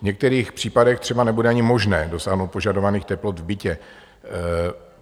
V některých případech třeba nebude ani možné dosáhnout požadovaných teplot v bytě.